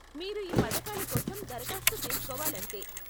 మీరు ఈ పథకాల కోసం దరఖాస్తు చేస్కోవాలంతే.